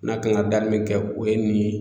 N'a kan ka daminɛ kɛ o ye nin ye.